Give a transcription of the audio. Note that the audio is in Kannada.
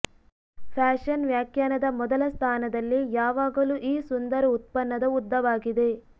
ಫ್ಯಾಶನ್ ವ್ಯಾಖ್ಯಾನದ ಮೊದಲ ಸ್ಥಾನದಲ್ಲಿ ಯಾವಾಗಲೂ ಈ ಸುಂದರ ಉತ್ಪನ್ನದ ಉದ್ದವಾಗಿದೆ